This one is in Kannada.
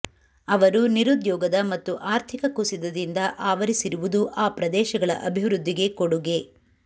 ಅವರು ನಿರುದ್ಯೋಗದ ಮತ್ತು ಆರ್ಥಿಕ ಕುಸಿತದಿಂದ ಆವರಿಸಿರುವುದು ಆ ಪ್ರದೇಶಗಳ ಅಭಿವೃದ್ಧಿಗೆ ಕೊಡುಗೆ